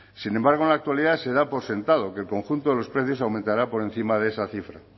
sin embargo en la actualidad se da por sentado que el conjunto de los precios aumentará por encima de esa cifra